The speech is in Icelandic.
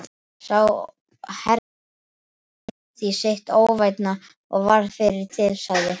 Sá herforingjaklíkan því sitt óvænna og varð fyrri til, sagði